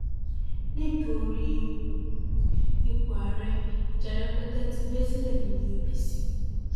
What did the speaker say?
nítorí um ipò ààrẹ ìjà rẹpẹtẹ ti bẹ sílẹ nínú apc